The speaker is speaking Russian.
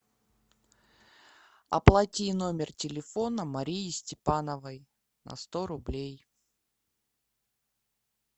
оплати номер телефона марии степановой на сто рублей